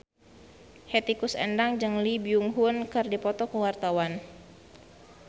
Hetty Koes Endang jeung Lee Byung Hun keur dipoto ku wartawan